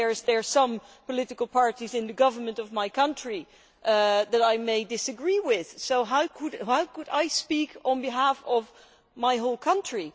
There are some political parties in the government of my country that I may disagree with, so how could I speak on behalf of my whole country?